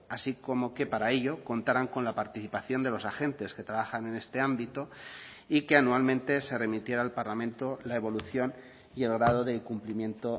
así como que para ello contarán con la participación de los agentes que trabajan en este ámbito y que anualmente se remitiera al parlamento la evolución y el grado del cumplimiento